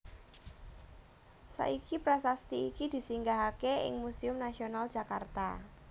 Saiki prasasti iki disinggahaké ing Museum Nasional Jakarta